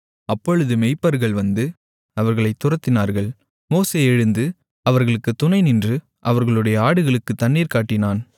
அப்பொழுது மேய்ப்பர்கள் வந்து அவர்களைத் துரத்தினார்கள் மோசே எழுந்து அவர்களுக்குத் துணை நின்று அவர்களுடைய ஆடுகளுக்குத் தண்ணீர் காட்டினான்